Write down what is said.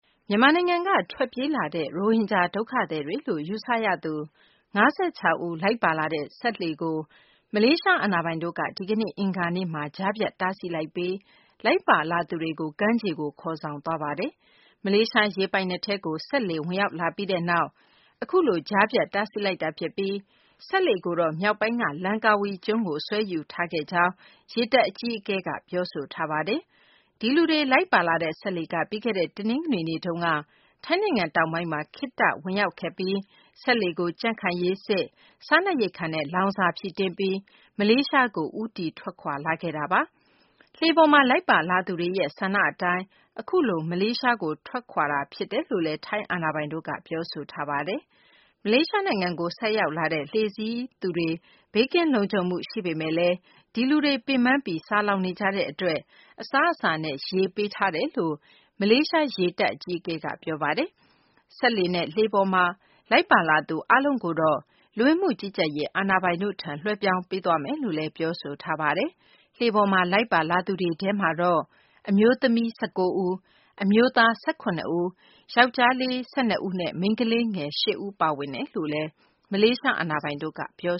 မြန်မာနိုင်ငံက ထွက်ပြေးလာတဲ့ ရိုဟင်ဂျာ ဒုက္ခသည်တွေလို့ ယူဆရသူ ၅၆ ဦး လိုက်ပါလာတဲ့ စက်လှေကို မလေးရှား အာဏာပိုင်တို့က ဒီကနေ့ အင်္ဂါနေ့မှာ ကြားဖြတ်တားဆီးလိုက်ပြီး လိုက်ပါလာသူတွေကို ကမ်းခြေကို ခေါ်ဆောင်သွားပါတယ်။ မလေးရှား ရေပိုင်နက်ထဲကို စက်လှေဝင်ရောက်လာပြီးနောက် အခုလို ကြားဖြတ်တားဆီးလိုက်တာ ဖြစ်ပြီး စက်လှေကိုတော့ မြောက်ပိုင်းက လန်ကာဝီကျွန်းကို ဆွဲယူခဲ့ကြောင်း ရေတပ်အကြီးအကဲ ရေတပ်ဗိုလ်ချုပ်ကြီး Ahmad Kamarulzaman Ahmad Badaruddin က ပြောပါတယ်။ ဒီလူတွေ လိုက်ပါလာတဲ့ စက်လှေက ပြီးခဲ့တဲ့ တနင်္ဂနွေနေ့တုန်းက ထိုင်းနိုင်ငံ တောင်ပိုင်းမှာ ခေတ္တ ဝင်ရောက်ခဲ့ပြီး စက်လှေကို ကြံ့ခိုင်ရေးစစ်၊ စားနပ်ရိက္ခာနဲ့ လောင်စာ ဖြည့်တင်းပြီး မလေးရှားကို ထွက်လာခဲ့တာပါ။ လှေပေါ်မှာ လိုက်ပါလာသူတွေရဲ့ ဆန္ဒ အတိုင်း အခုလို မလေးရှားကို ထွက်ခွာတာ ဖြစ်တယ်လို့လည်း ထိုင်းအာဏာပိုင်တို့က ပြောဆိုထားတာပါ။ မလေးရှားနိုင်ငံကို ဆိုက်ရောက်လာတဲ့ လှေစီးလာသူတွေ ဘေးကင်းလုံခြုံမှု ရှိပေမယ့် ဒီလူတွေ ပင်ပန်းပြီး ဆာလောင်နေကြတဲ့ အတွက် အစားအစာနဲ့ ရေ ပေးထားတယ်လို့လည်း မလေးရှား ရေတပ် အကြီးအကဲက ပြောပါတယ်။ စက်လှေနဲ့ လှေပေါ်မှာ လိုက်ပါလာသူ အားလုံးကိုတော့ လူဝင်မှု ကြီးကြပ်ရေး အာဏာပိုင်တို့ထံ လွှဲပြောင်းပေးသွားမယ်လို့လည်း ပြောဆိုပါတယ်။ လှေပေါ်မှာ လိုက်ပါလာသူတွေထဲမှာတော့ အမျိုးသမီး ၁၉ ဦး၊ အမျိုးသား ၁၇ ဦး၊ ယောက်ျားလေး ၁၂ ဦးနဲ့ မိန်းကလေးငယ် ၈ ဦး ပါဝင်ကြောင်းလည်း မလေးရှား အာဏာပိုင်တို့က ပြော